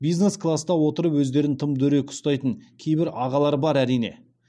бизнес класта отырып өздерін тым дөрекі ұстайтын кейбір ағалар бар әрине